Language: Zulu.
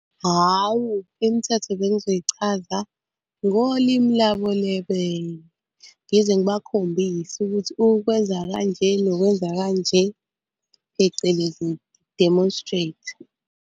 Hhawu, imithetho bengizoyichaza ngolimi labo lebele. Ngize ngibakhombise ukuthi ukwenza kanje nokwenza kanje phecelezi demonstrate.